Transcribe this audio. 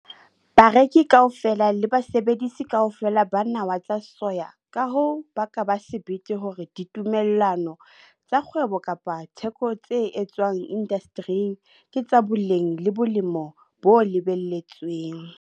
Bareki kaofela le basebedisi kaofela ba nawa tsa soya ka hoo ba ka ba sebete hore ditumellano tsa kgwebo kapa tsa theko tse etswang indastering ke tsa boleng le boemo bo lebelletsweng.